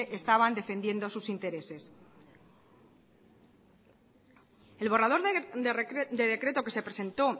estaban defendiendo sus intereses el borrador de decreto que se presentó